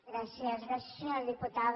gràcies senyora diputada